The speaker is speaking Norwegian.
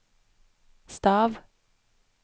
stav